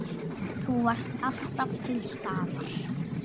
Þú varst alltaf til staðar.